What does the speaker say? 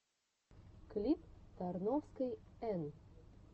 клип тарновской эн